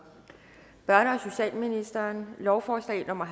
socialministeren lovforslag nummer